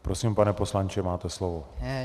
Prosím, pane poslanče, máte slovo.